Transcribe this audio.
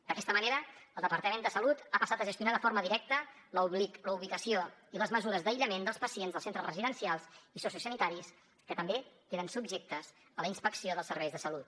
d’aquesta manera el departament de salut ha passat a gestionar de forma directa la ubicació i les mesures d’aïllament dels pacients dels centres residencials i sociosanitaris que també queden subjectes a la inspecció dels serveis de salut